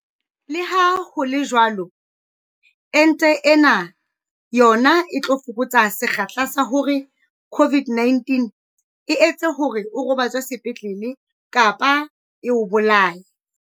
Leha ho le jwalo, ente ena yona e tla fokotsa sekgahla sa hore COVID-19 e etse hore o robatswe sepetlele kapa e o bolaye.